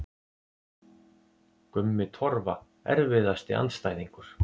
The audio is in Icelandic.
Gummi Torfa Erfiðasti andstæðingur?